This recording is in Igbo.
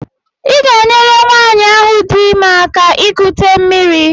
Ị ga-enyere nwanyị ahụ dị ime aka ikute mmiri.